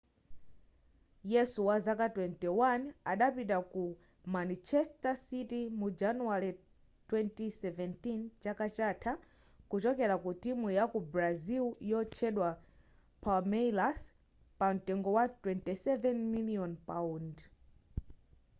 yesu wazaka 21 adapita ku manchester city mu januwale 2017 chaka chatha kuchokera ku timu yaku brazil yotchedwa palmeiras pamtengo wa 27 miliyoni paundi